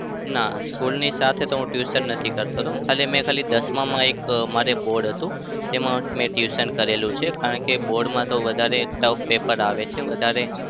ના, school ની સાથે તો હું tuition નથી કરતો હતો. ખાલી મેં ખાલી મેં દસમાં મારે એક board હતું. તેમાં મેં tuition કરેલું છે. કારણ કે board માં વધારે tough paper છે વધારે